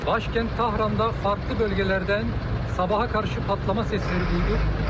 Başkənd Tahranda fərqli bölgələrdən sabaha qarşı patlama səsləri duyuldu.